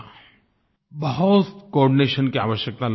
बहुत कोआर्डिनेशन की आवश्यकता लगी मुझे